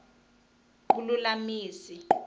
vululamisi